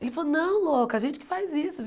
Ele falou, não, louca, a gente que faz isso.